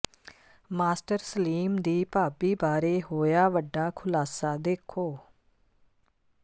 master Salim ਦੀ ਭਾਬੀ ਬਾਰੇ ਹੋਇਆ ਵੱਡਾ ਖੁਲਾਸਾ ਦੋਖੋ